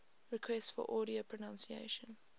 requests for audio pronunciation